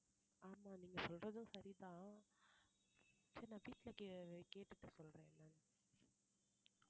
ஆமா நீங்க சொல்றதும் சரிதான் சரி நான் வீட்டுல கேட்டுட்டு சொல்றேன்